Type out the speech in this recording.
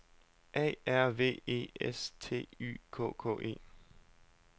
A R V E S T Y K K E